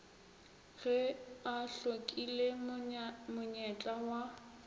ge a hlokile monyetla wa